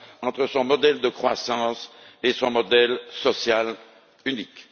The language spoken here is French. entre son modèle de croissance et son modèle social unique.